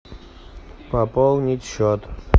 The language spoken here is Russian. пополнить счет